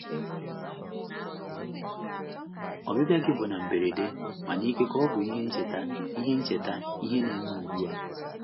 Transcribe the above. Ọbịbịa gị bụ na mberede, mana ikekwe ọ bụ ihe ncheta ihe ncheta ihe ne me ugbua.